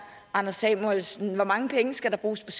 anders samuelsen hvor mange penge skal der bruges